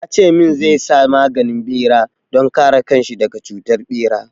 Ya ce min zai sa maganin bera don kare kan shi daga cutar ɓera.